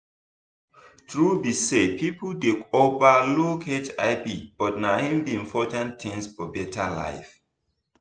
truth be say people dey over look hivbut na hin be important thing for better life